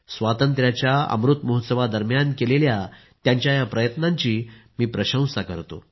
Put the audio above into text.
स्वातंत्र्याच्या अमृत महोत्सवादरम्यान केलेल्या त्यांच्या या प्रयत्नाची मी प्रशंसा करतो